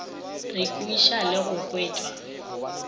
re kweša le go kwešwa